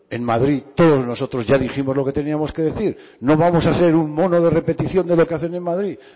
en madrid todos nosotros ya dijimos lo que teníamos que decir no vamos hacer un mono de repetición de lo que hacen en madrid